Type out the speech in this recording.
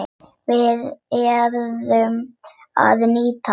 Við urðum að nýta það.